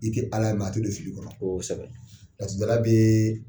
I te Ala ye a te don fili kɔnɔ. Koosɛbɛ. Laturudala bee